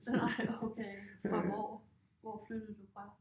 Nej okay fra hvor? Hvor flyttede du fra?